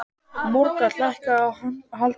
Margot, lækkaðu í hátalaranum.